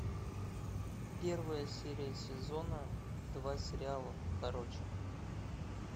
первая серия сезона два сериала короче